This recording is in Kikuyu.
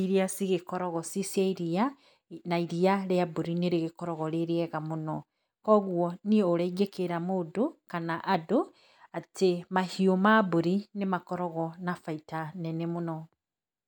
iria cigĩkoragwo ci cia iria, na iria rĩa mbũri nĩ rĩgĩkoragwo rĩ rĩega mũno, koguo niĩ ũrĩa ingĩkĩra mũndũ, kana andũ, atĩ mahiũ ma mbũri nĩ makoragwo na baita nene mũno.